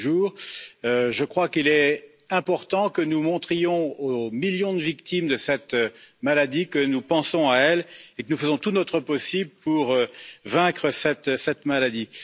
J'estime qu'il est important que nous montrions aux millions de victimes de cette maladie que nous pensons à elles et que nous faisons tout notre possible pour vaincre cette maladie.